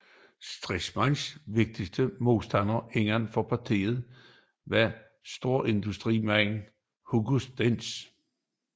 Stresemanns vigtigste modstander inden for partiet var storindustrimanden Hugo Stinnes